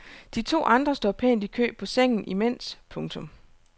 De to andre står pænt i kø på sengen imens. punktum